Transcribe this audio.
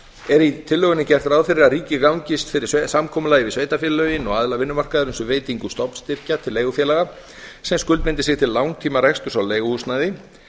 er í tillögunni gert ráð fyrir að ríkið gangist fyrir samkomulagi við sveitarfélögin og aðila vinnumarkaðarins um veitingu stofnstyrkja til leigufélaga sem skuldbindi sig til langtímareksturs á leiguhúsnæði